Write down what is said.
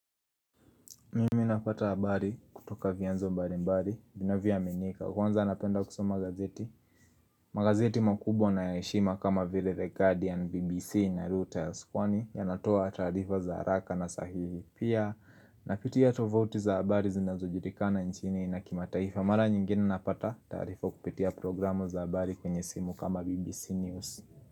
Mimi napata habari kutoka vyanzo mbali mbali vinavyoaminika kwanza napenda kusoma gazeti Magazeti makubwa na ya heshima kama vile The Guardian, BBC na Reuters kwani yanatoa taarifa za haraka na sahihi pia Napitia tovuti za habari zinazojulikana nchini na kimataifa Mara nyingine napata taarifa kupitia programu za habari kwenye simu kama BBC News.